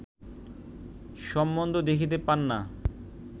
সম্বন্ধ দেখিতে পান না